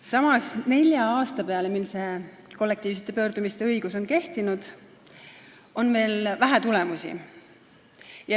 Samas, nelja aasta peale, mil see kollektiivse pöördumise õigus on kehtinud, on vähe tulemusi.